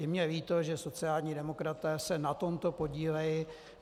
Je mně líto, že sociální demokraté se na tomto podílejí.